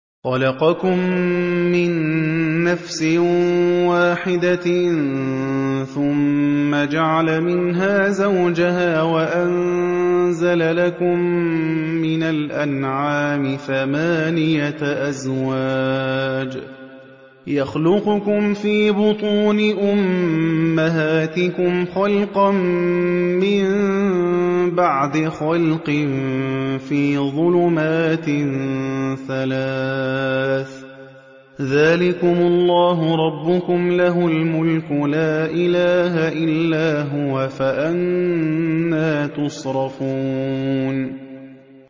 خَلَقَكُم مِّن نَّفْسٍ وَاحِدَةٍ ثُمَّ جَعَلَ مِنْهَا زَوْجَهَا وَأَنزَلَ لَكُم مِّنَ الْأَنْعَامِ ثَمَانِيَةَ أَزْوَاجٍ ۚ يَخْلُقُكُمْ فِي بُطُونِ أُمَّهَاتِكُمْ خَلْقًا مِّن بَعْدِ خَلْقٍ فِي ظُلُمَاتٍ ثَلَاثٍ ۚ ذَٰلِكُمُ اللَّهُ رَبُّكُمْ لَهُ الْمُلْكُ ۖ لَا إِلَٰهَ إِلَّا هُوَ ۖ فَأَنَّىٰ تُصْرَفُونَ